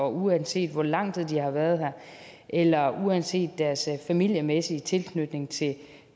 uanset hvor lang tid de har været her eller uanset deres familiemæssige tilknytning til